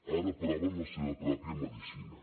ara proven la seva pròpia medicina